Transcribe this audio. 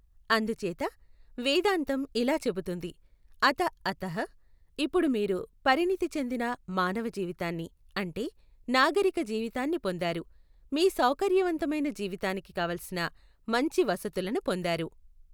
అందుచేత వేదాంతం ఇలా చెబుతోంది, అథ అథః ఇప్పుడు మీరు పరిణతిచెందిన మానవ జీవితాన్ని అంటే నాగరిక జీవితాన్ని పొందారు. మీ సౌకర్యవంతమైన జీవితానికి కావలిసిన మంచి వసతులను పొందారు.